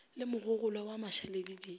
le mogogolwa wa mašaledi di